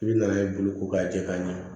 I bɛ na n'a ye boloko k'a jɛ k'a ɲɛ